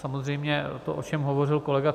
Samozřejmě to, o čem hovořil kolega